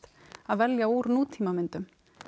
að velja úr nútímamyndum